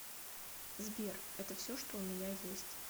сбер это все что у меня есть